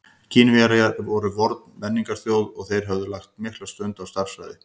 Kínverjar voru forn menningarþjóð og þeir höfðu lagt mikla stund á stærðfræði.